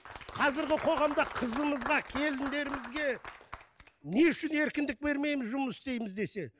қазіргі қоғамда қызымызға келіндерімізге не үшін еркіндік бермейміз жұмыс істейміз десе